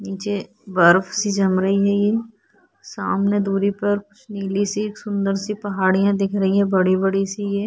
निचे बर्फ़ सी जम रही हैं ये सामने दूरी पर कुछ नीली-सी एक सुन्दर-सी पहाड़ियाँ दिख रही है बड़ी-बड़ी सी ये --